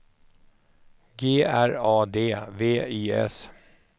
G R A D V I S